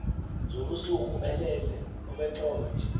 zobusuku elele obentlombe